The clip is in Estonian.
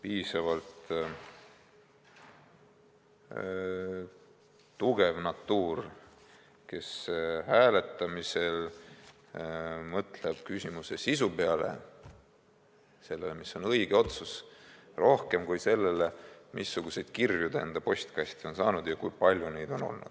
piisavalt tugev natuur, kes hääletamisel mõtleb küsimuse sisu peale, sellele, mis on õige otsus, ja mitte niivõrd sellele, missuguseid kirju ta enda postkasti on saanud ja kui palju neid on olnud.